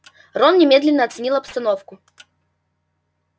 рон немедленно оценил обстановку